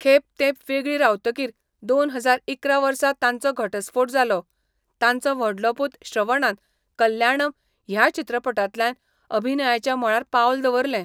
खेब तेंप वेगळीं रावतकीर दोन हजार इकरा वर्सा तांचो घटस्फोट जालो. तांचो व्हडलो पूत श्रवणान कल्याणम ह्या चित्रपटांतल्यान अभिनयाच्या मळार पावल दवरलें.